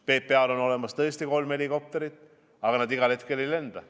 PPA-l on tõesti olemas kolm helikopterit, aga need igal hetkel ei saa lennata.